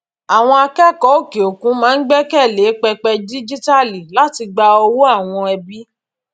àwọn akẹkọọ òkè òkun máa ń gbẹkẹ lé pẹpẹ díjíítàálì láti gba owó àwọn ẹbí